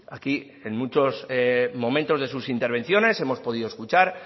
aquí en muchos momentos de sus intervenciones hemos podido escuchar